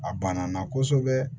A banna kosɛbɛ